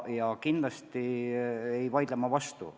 Ja kindlasti ei vaidle ma teile vastu.